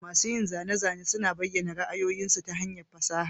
Masun yin zane-zane suna bayyana ra'ayoyinsu ta hanyar fasaha.